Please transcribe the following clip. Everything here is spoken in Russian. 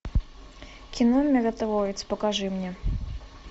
кино миротворец покажи мне